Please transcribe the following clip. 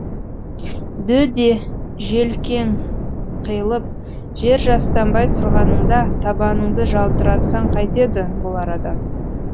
дөде желкең қиылып жер жастанбай тұрғаныңда табаныңды жалтыратсаң қайтеді бұл арадан